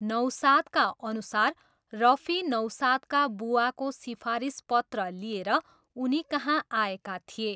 नौसादका अनुसार रफी नौसादका बुवाको सिफारिस पत्र लिएर उनीकहाँ आएका थिए।